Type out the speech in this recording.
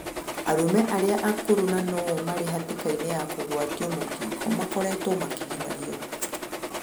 Arũme arĩa akũrũ na no o marĩ hatĩkaĩnĩ yakugwarĩo mũkingo makoretwo makĩgĩmarĩo